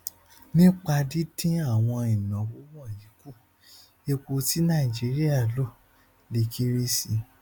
nípa dídín àwọn ìnáwó wọnyí kù epo tí nàìjíríà lò lè kéré sí